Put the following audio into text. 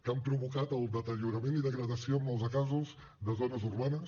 que han provocat el deteriorament i degradació en molts de casos de zones urbanes